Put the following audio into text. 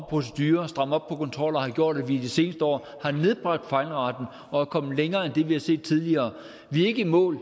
procedurer og stramme op på kontroller har gjort at vi i det seneste år har nedbragt fejlraten og er kommet længere end det vi har set tidligere vi er ikke i mål